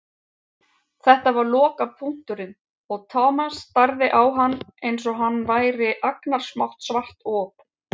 Þetta var lokapunkturinn og Thomas starði á hann einsog hann væri agnarsmátt svart op.